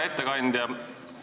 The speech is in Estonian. Hea ettekandja!